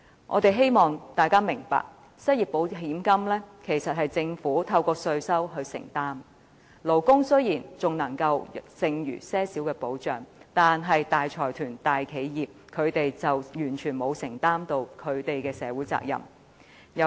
我希望大家明白，失業保險金其實是政府透過稅收來承擔的責任，勞工雖然因此得到少許保障，但大財團、大企業則可完全免除社會責任。